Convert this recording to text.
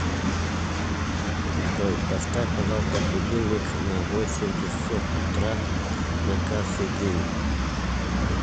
джой поставь пожалуйста будильник на восемь часов утра на каждый день